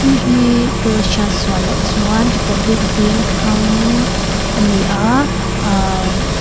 mi hi kala hriat sual loh chuan republic veng thlang a ni a umm.